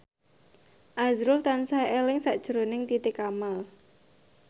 azrul tansah eling sakjroning Titi Kamal